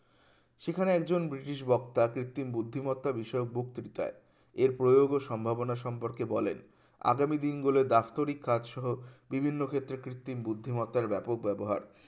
সেখানে একজন ব্রিটিশ বক্তা কৃত্রিম বুদ্ধিমত্তা বিষয়ে বক্তৃতায় এর প্রয়োগ ও সম্ভাবনা সম্পর্কে বলেন আগামী দিনগুলো ব্যস্তরিক কাজ সহ বিভিন্ন ক্ষেত্রে কৃত্রিম বুদ্ধিমত্তার ব্যাপক ব্যবহার